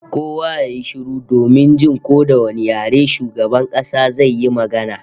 Kowa ya yi shiru domin jin ko da wane yare shugaban kasa zai yi magana